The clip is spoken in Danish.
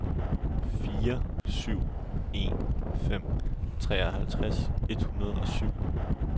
fire syv en fem treoghalvtreds et hundrede og syv